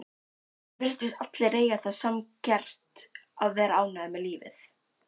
Virtust allir eiga það sammerkt að vera ánægðir með lífið.